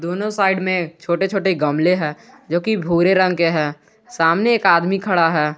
दोनों साइड में छोटे छोटे गमले हैं जोकि भूरे रंग के हैं सामने एक आदमी खड़ा है।